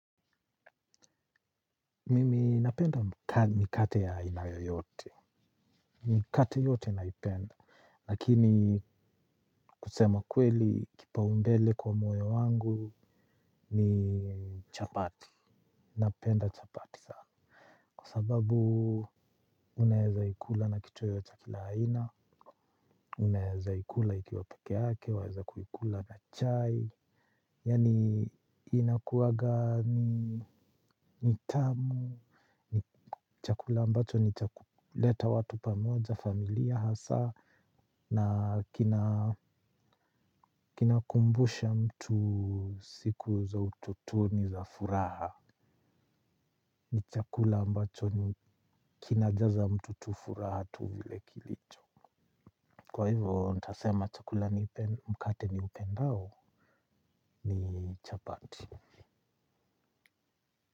Mimi napenda mikate ya aina yoyote. Mikate yote naipenda. Lakini kusema kweli kipa umbele kwa mwoyo wangu ni chapati. Napenda chapati sana. Kwa sababu unaeza ikula na kitu yoyote ya kila aina. Unaeza ikula ikiwa peke yake. Unaeza kuikula na chai. Yani inakuwa gani nitamu. Ni chakula ambacho nichakuleta watu pamoja familia hasa na kina kinakumbusha mtu siku za utotoni za furaha. Ni chakula ambacho ni kina jaza mtu tu furaha tu vile kilicho. Kwa hivyo ntasema chakula mkate ni upendao ni chapati.